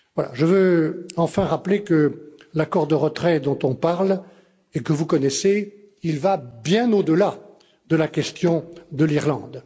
Je veux enfin rappeler que l'accord de retrait dont on parle et que vous connaissez va bien au delà de la question de l'Irlande.